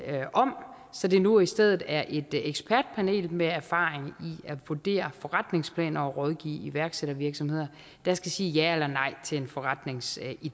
om så det nu i stedet er et ekspertpanel med erfaring i at vurdere forretningsplaner og rådgive iværksættervirksomheder der skal sige ja eller nej til en forretningsidé